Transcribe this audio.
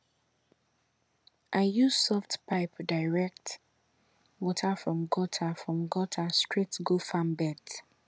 i use soft pipe direct water from gutter from gutter straight go farm beds